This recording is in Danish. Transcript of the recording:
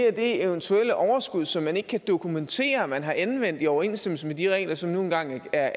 er det eventuelle overskud som man ikke kan dokumentere at man har anvendt i overensstemmelse med de regler som nu engang er